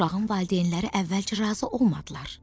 Uşağın valideynləri əvvəlcə razı olmadılar.